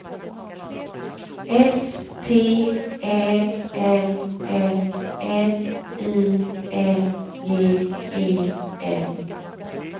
S T Ä L L N I N G E N